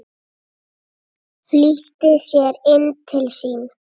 Flýtti sér inn til sín.